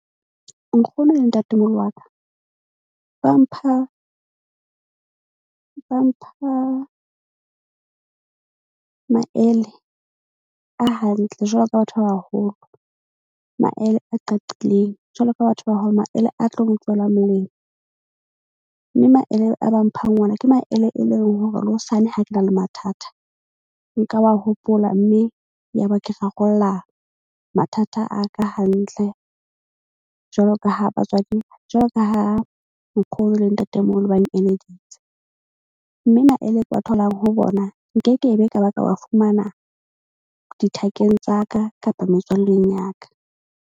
Nkgono le ntatemoholo wa ka ba mpha maele a hantle, jwalo ka batho ba baholo. Maele a qaqileng jwalo ka batho ba hao maele a tlo tswela molemo. Mme maele a ba mphang ona ke maele e leng hore le hosane ha ke na le mathata, nka wa hopola. Mme ya ba ke rarolla mathata a ka hantle. Jwalo ka ha batswadi jwalo ka ha nkgono le ntatemoholo ba . Mme maele ke wa tholang ho bona nke ke be ka ba ka wa fumana dithakeng tsa ka kapa metswalleng ya ka.